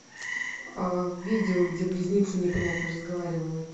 видео где близнецы непонятно разговаривают